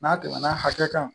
N'a tɛmɛna hakɛ kan